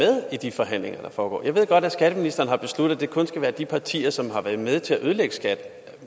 i de forhandlinger der foregår jeg ved godt at skatteministeren har besluttet at det kun skal være de partier som har været med til at ødelægge skat